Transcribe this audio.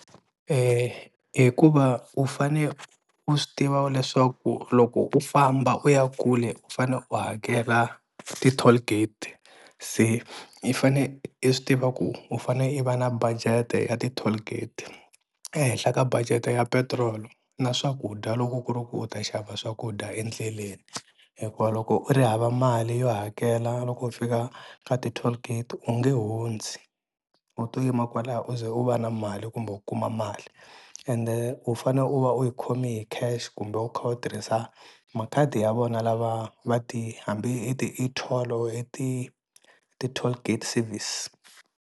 Hikuva u fane u swi tiva leswaku loko u famba u ya kule u fanele u hakela ti-tollgate se i fane i swi tiva ku u fane i va na budget-e ya ti-tollgate ehenhla ka budget ya petiroli na swakudya loko ku ri ku u ta xava swakudya endleleni hikuva loko u ri hava mali yo hakela loko u fika ka ti-tollgate u nge hundzi u to yima kwalaho u ze u va na mali kumbe u kuma mali ende u fane u va u yi khomi hi cash kumbe u kha u tirhisa makhadi ya vona lava va ti hambi i ti-e-toll or i ti ti-tollgate service.